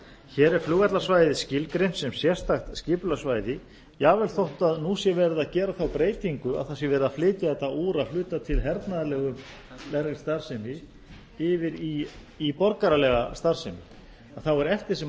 hér er flugvallarsvæðið skilgreint sem sérstakt skipulagssvæði jafnvel þótt nú sé verið að gera þá breytingu að það sé verið að flytja þetta úr að hluta til hernaðarlegri starfsemi yfir í borgaralega starfsemi að þá er eftir sem